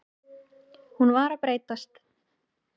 Hún var að breytast.